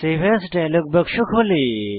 save as dialog বাক্স খোলে